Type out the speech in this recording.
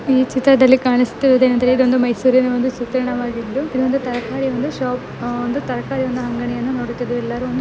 E ಚಿತ್ರದಲ್ಲಿ ಕಾಣಿಸುತ್ತಿರುವುದು ಏನೆಂದರೆ ಇದೊಂದು ಮೈಸೂರಿನ ಒಂದು ಚಿತ್ರಣವಾಗಿದ್ದು ಇದೊಂದು ತರಕಾರಿಯೊಂದು ಶೋಪ್ ಒಂದು ತರಕಾರಿವನ್ನು ಅಂಗಡಿಯನ್ನು ನೋಡುತ್ತಿದವಿ ಇಲ್ಲರೂ ಒಂದು --